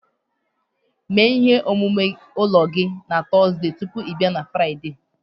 Mee ihe omume ụlọ gị na Tọzdee tupu ị bịa na Fraịde